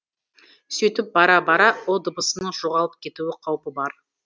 сөйтіп бара бара ұ дыбысының жоғалып кету қауіпі бар